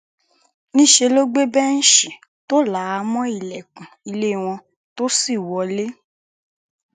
níṣẹ ló gbé bẹǹṣì tó là mọ ọn ilẹkùn ilé wọn tó sì wọlé